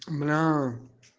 бля